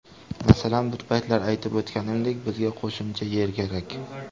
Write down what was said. Masalan, bir paytlar aytib o‘tganimdek, bizga qo‘shimcha yer kerak.